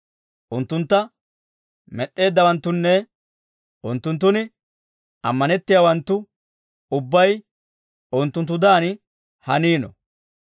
Unttuntta med'd'eeddawanttunne, unttunttun ammanettiyaawanttu, ubbay unttunttudan hanino.